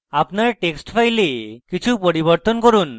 আপনার text file কিছু পরিবর্তন করুন